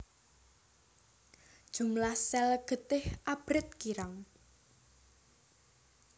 Jumlah sel getih abrit kirang